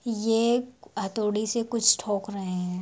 ये हथौड़ी से कुछ ठोक रहे है।